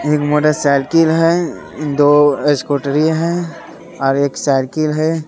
एक motorcycle है दो स्कूटरी है और एक साइकिल है।